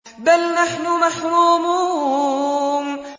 بَلْ نَحْنُ مَحْرُومُونَ